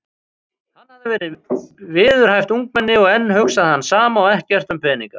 Hann hafði verið viðræðuhæft ungmenni og enn hugsaði hann sama og ekkert um peninga.